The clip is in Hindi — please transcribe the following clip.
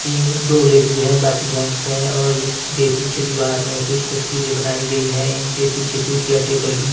तीन दो लेडीज हैं बाकी जेंट्स हैं और इस के पीछे दीवार में कुछ तस्वीरें बनाई गई हैं इनके पीछे कुर्सियां टेबल भी--